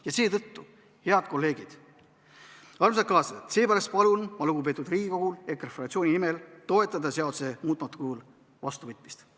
Ja seetõttu, head kolleegid, armsad kaaslased, ma palun EKRE fraktsiooni nimel lugupeetud Riigikogu toetada seaduse muutmata kujul vastuvõtmist.